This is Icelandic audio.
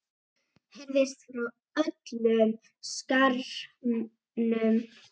heyrðist frá öllum skaranum.